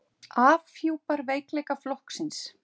Afhjúpar veikleika flokksins